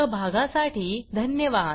सहभागासाठी धन्यवाद